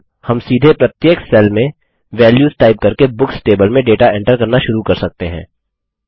अब हम सीधे प्रत्येक सेल में वेल्यूस टाइप करके बुक्स टेबल में डेटा एंटर करना शुरू कर सकते हैं